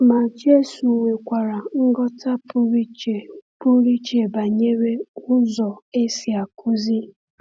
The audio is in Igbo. Ma Jésù nwekwara nghọta pụrụ iche pụrụ iche banyere ụzọ e si akụzi.